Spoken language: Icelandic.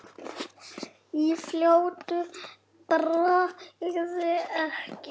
Í fljótu bragði ekki.